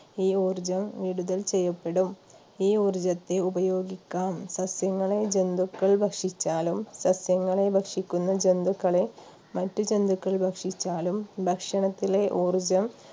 ഈ ഊർജ്ജം വിടുതൽ ചെയ്യപ്പെടും ഈ ഊർജ്ജത്തെ ഉപയോഗിക്കാം സസ്യങ്ങളെ ജന്തുക്കൾ ഭക്ഷിച്ചാലും സസ്യങ്ങളെ ഭക്ഷിക്കുന്ന ജന്തുക്കളെ മറ്റു ജന്തുക്കൾ ഭക്ഷിച്ചാലും ഭക്ഷണത്തിലെ ഊർജ്ജം